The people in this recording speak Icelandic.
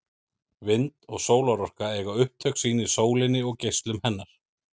Vind- og sólarorka eiga upptök sín í sólinni og geislum hennar.